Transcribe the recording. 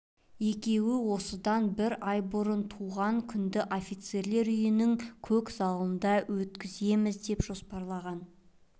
екеуі осыдан бір ай бұрын туған күнді офицерлер үйінің көк залында өткіземіз деп жоспарлаған